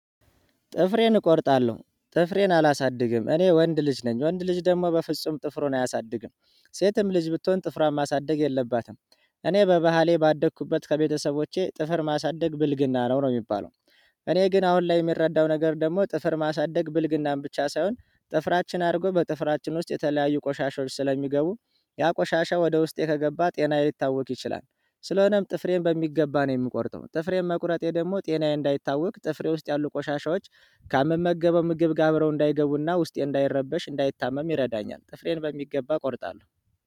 ጥፍሬን እቆርጣለሁ ጥፍሬን አላሳድግም እኔ ወንድ ልጅ ነኝ ወንድ ልጅ ደግሞ በፍጹም ጥፍሩን አያሳድግም ሴትም ልጅ ብትሆን ጥፍሯን ማሳደግ የለባትም። እኔ በባህሌ ባደኩበት ከቤተሰቦቼ ጥፍር ማሳደግ ብልግና ነው ነው ሚባለው። እኔ ግን አሁን ላይ የሚረዳው ነገር ደግሞ ጥፍር ማሳደግ ብልግናም ብቻ ሳይሆን ጥፍራችን አድጎ በጥፍራችን ውስጥ የተለያዩ ቆሻሻዎች ስለሚገቡ ያ ቆሻሻ ወደ ውስጤ ከገባ ጤናዬ ሊታወክ ይችላል። ስለሆነም ጥፍሬን በሚገባ ነው የምቆርጠው። ጥፍሬን መቁረጤ ደግሞ ጤናዬ እንዳይታወክ ጥፍሬ ውስጥ ያሉ ቆሻሻዎች ከምመገበው ምግብ ጋር አብረው እንዳይገቡ እና ውስጤ እንዳይረበሽ እንዳይታመም ይረዳኛል። ጥፍሬን በሚገባ እቆርጣለሁ።